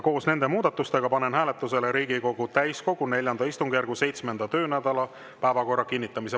Koos nende muudatustega panen hääletusele Riigikogu täiskogu IV istungjärgu 7. töönädala päevakorra kinnitamise.